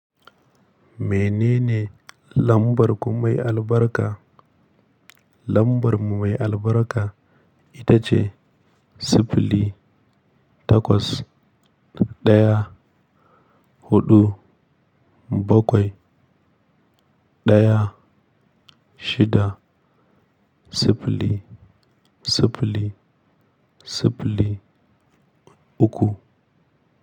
Menene lambar ku mai albarka? Lambar mu mai albarka ita ce sifili takwas ɗaya huɗu bakwai daya shida siffli, siffli, siffli uku.